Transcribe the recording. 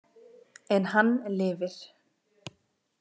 En hann lifir.